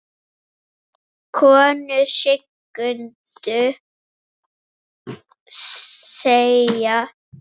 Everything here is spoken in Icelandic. Konur signdu sig.